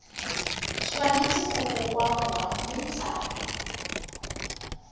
tshwanetse go kokoanngwa mme tsa